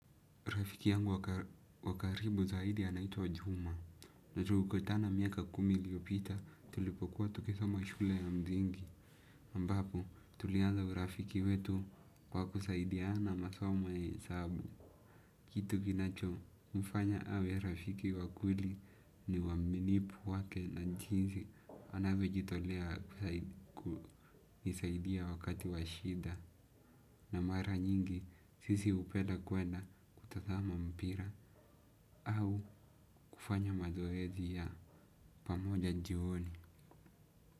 Rafiki yangu wa karibu zaidi anaitwa juma. Na tulikutana miaka kumi iliopita tulipokuwa tukisoma shule ya msingi. Ambapo tulianza urafiki wetu kwa kusaidia na masoma ya hesabu. Kitu kinachomfanya awe rafiki wa kweli ni uaminifu wake na jinsi anavyojitolea kunisaidia wakati wa shida. Na mara nyingi sisi hupenda kwenda kutazama mpira. Au kufanya mazoezi ya pamoja jioni.